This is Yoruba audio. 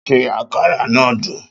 Ṣé àkàrà náà dùn?